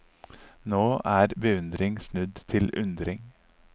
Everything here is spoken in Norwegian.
Nå er beundring snudd til undring.